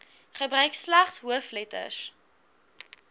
gebruik slegs hoofletters